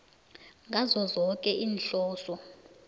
ngazo zoke iinhloso